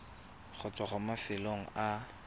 go tswa mo mafelong a